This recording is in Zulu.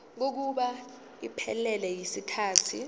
kokuba iphelele yisikhathi